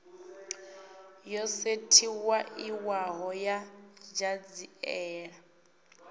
yo sethifaiwaho ya ṱhanziela ya